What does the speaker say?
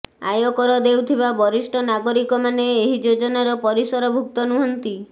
ଆୟକର ଦେଉଥିବା ବରିଷ୍ଠ ନାଗରିକମାନେ ଏହି ଯୋଜନାର ପରିସର ଭୁକ୍ତ ନୁହନ୍ତି